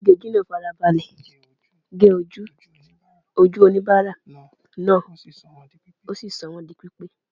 Onígejì náà fara balẹ̀ ge ojú ojú oníbàárà náà, ó sì sọ wọ́n di pípé.